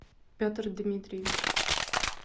петр дмитриевич